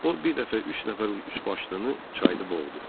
O bir dəfə üç nəfər üçbaşlını çayda boğdu.